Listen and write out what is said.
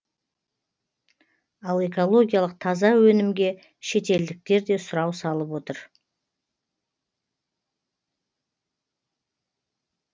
ал экологиялық таза өнімге шетелдіктер де сұрау салып отыр